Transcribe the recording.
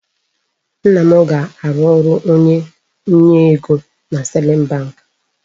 Nna m ga-arụ ọrụ onye nye ego na Sterling bank.